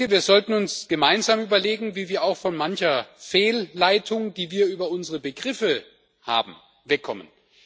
Wir sollten uns gemeinsam überlegen, wie wir auch von mancher Fehlleitung, die wir über unsere Begriffe haben, wegkommen.